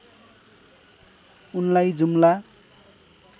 उनलाई जुम्ला